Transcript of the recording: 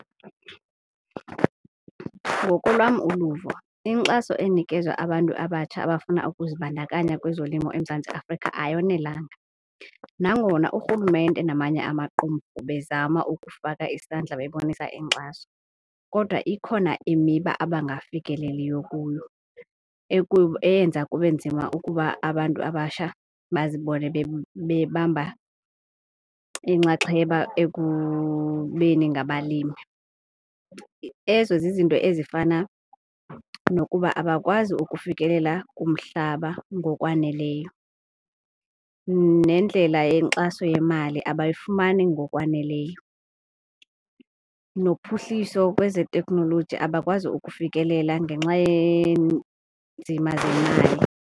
Ngokolwam uluvo inkxaso enikezwa abantu abatsha abafuna ukuzibandakanya kwezolimo eMzantsi Afrika ayonelanga. Nangona urhulumente namanye amaqumrhu bezama ukufaka isandla bebonisa inkxaso, kodwa ikhona imiba abangafikeleliyo kuyo eyenza kube nzima ukuba abantu abatsha bazibone bebamba inxaxheba ekubeni ngabalimi. Ezo zizinto ezifana nokuba abakwazi ukufikelela kumhlaba ngokwaneleyo nendlela yenkxaso yemali abayifumani ngokwaneleyo, nophuhliso kwezeteknoloji abakwazi ukufikelela ngenxa yeenzima zemali.